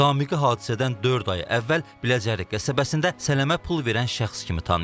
Zamiqi hadisədən dörd ay əvvəl Biləcəri qəsəbəsində sələmə pul verən şəxs kimi tanıyıb.